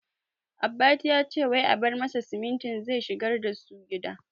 Abbati yace wai a bar masa simintin zai shigar dasu gida